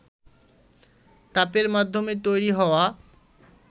তাপের মাধ্যমে তৈরি হওয়া